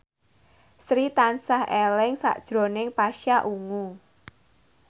Sri tansah eling sakjroning Pasha Ungu